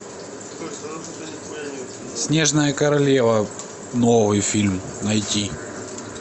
снежная королева новый фильм найти